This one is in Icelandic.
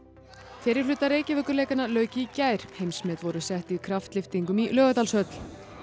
fyrri hluta lauk í gær heimsmet voru sett í kraftlyftingum í Laugardalshöll